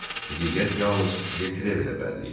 Həqiqət yalnız de Trevilə bəlli idi.